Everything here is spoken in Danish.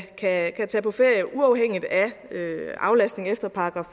tage på ferie uafhængigt af aflastning efter §